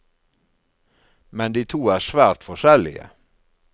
Men de to er svært forskjellige.